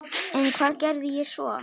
En hvað geri ég svo?